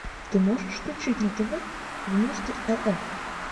ты можешь включить на тв вместе рф